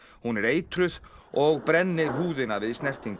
hún er eitruð og brennir húðina við snertingu